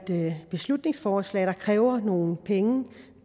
beslutningsforslag der kræver nogle penge